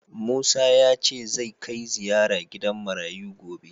Musa ya ce zai kai ziraya gidan marayu gobe